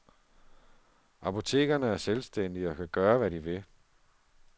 Apotekerne er selvstændige og kan gøre, hvad de vil.